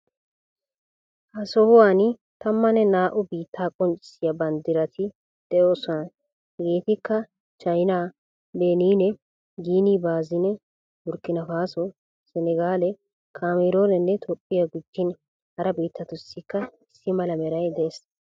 Ha sohuwan tammanne naa"u biittaa qonccissiya banddirati de'oosona. Hegeetikka chaynaa, Benine, Guinea Bissau , Burkinafaaso, Senegale, Kaameeruune, Tophphiya, gujjin hara biittatussiikka issi mala meray de'es.